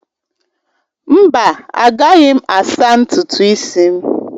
Mba, agaghị m asaa ntutu isi m!